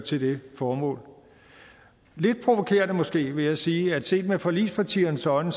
til det formål lidt provokerende måske vil jeg sige at set med forligspartiernes øjne